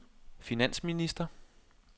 finansminister